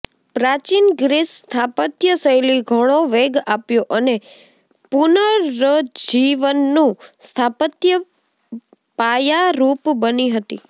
પ્રાચીન ગ્રીસ સ્થાપત્ય શૈલી ઘણો વેગ આપ્યો અને પુનરુજ્જીવનનું સ્થાપત્ય પાયારુપ બની હતી